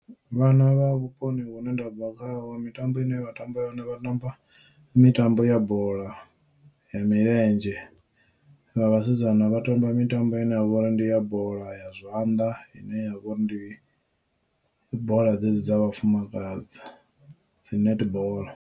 Vhana vha vhuponi hune ndabva khaho mitambo ine vha tamba yone vha tamba mitambo ya bola ya milenzhe vha vhasidzana vha tamba mitambo ine ya vha uri ndi ya bola ya zwanḓa ine ya vha uri ndi bola dzedzi dza vhafumakadzi dzi netball.